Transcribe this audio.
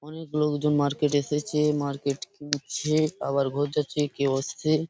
অনেক লোকজন মার্কেট এসেছে মার্কেট ঘুরছে আবার ঘর যাচ্ছে কেউ আস্ছে ।